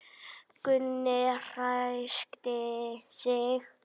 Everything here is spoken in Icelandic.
Gunni ræskti sig.